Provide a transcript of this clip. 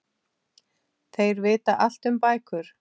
Þeir vita allt um bækur.